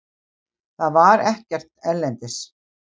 Það var ekkert erlendis.